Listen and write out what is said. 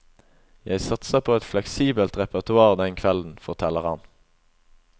Jeg satser på et fleksibelt repertoar den kvelden, forteller han.